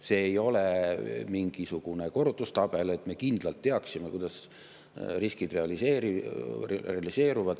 See ei ole mingisugune korrutustabel, me kindlalt teaksime, kuidas riskid realiseeruvad.